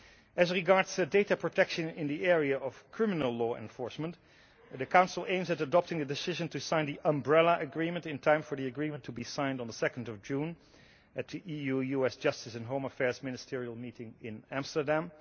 As regards data protection in the area of criminal law enforcement, the Council aims at adopting a decision to sign the Umbrella Agreement in time for the agreement to be signed on 2 June at the EU US Justice and Home Affairs ministerial meeting in Amsterdam.